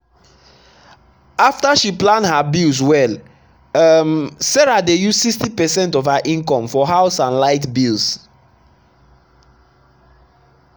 after she plan her bills well um sarah dey use 60 percent of her income for house and light bills.